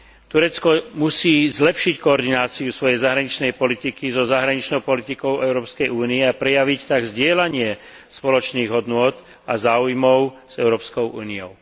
Turecko musí zlepšiť koordináciu svojej zahraničnej politiky so zahraničnou politikou Európskej únie a prejaviť tak zastávanie spoločných hodnôt a záujmov s Európskou úniou.